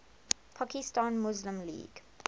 pakistan muslim league